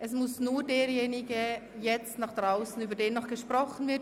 Es muss jetzt nur derjenige nach draussen, über den noch gesprochen wird.